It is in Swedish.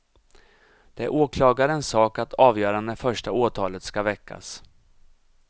Det är åklagarens sak att avgöra när första åtalet ska väckas.